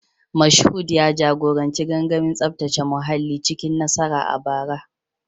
Mashood ya jagoranci gangamin tsaftace muhalli cikin nasara a bara